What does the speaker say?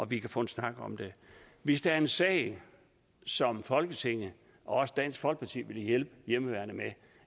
vi kan få en snak om det hvis der er en sag som folketinget og også dansk folkeparti vil hjælpe hjemmeværnet og